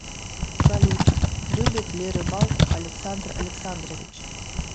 салют любит ли рыбалку александр александрович